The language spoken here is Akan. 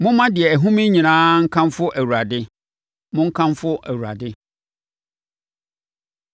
Momma deɛ ɛhome nyinaa nkamfo Awurade. Monkamfo Awurade.